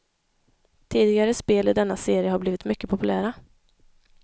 Tidigare spel i denna serie har blivit mycket populära.